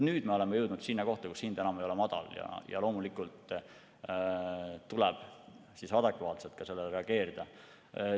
Nüüd me oleme jõudnud sinna kohta, kus hind enam ei ole madal, ja loomulikult tuleb sellele adekvaatselt ka reageerida.